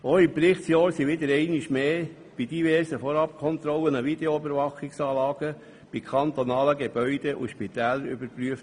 Auch im Berichtsjahr wurden einmal mehr bei diversen Vorabkontrollen Videoüberwachungsanlagen bei kantonalen Gebäuden und Spitälern überprüft.